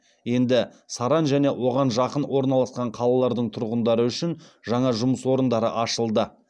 енді саран және оған жақын орналасқан қалалардың тұрғындары үшін жаңа жұмыс орындары ашылды